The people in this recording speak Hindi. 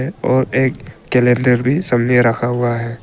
और एक कैलेंडर भी रखा हुआ है।